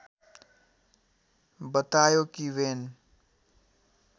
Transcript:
बतायो कि बेन